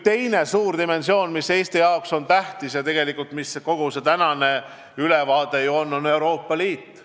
Teine suur dimensioon, mis Eesti jaoks tähtis on ja millest kogu see tänane ülevaade ju räägib, on Euroopa Liit.